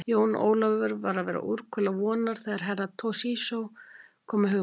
Jón Ólafur var að verða úrkula vonar þegar Herra Toshizo kom með hugmynd.